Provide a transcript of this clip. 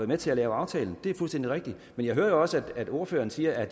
med til at lave aftalen det er fuldstændig rigtigt men jeg hører jo også at ordføreren siger at